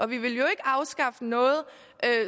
vi vil jo ikke afskaffe noget